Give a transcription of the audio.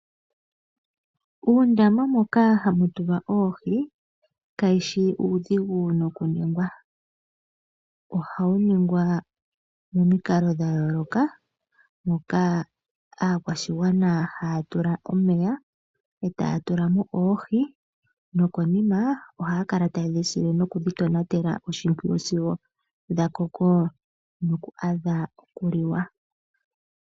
Uundama mboka hawu tulwa oohi, kawushi uudhigu nokuningwa. Ohawu ningwa momikalo dha yooloka, moka aakwashigwana haya tula omeya, etaya tula mo oohi, nokonima ohaya kala tayedhi sile nokudhi tonatela oshimpwiyu sigo dha koko noku adha okuliwa.